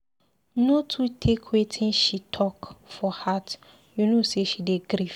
No too take wetin she talk for heart you know sey she dey grief.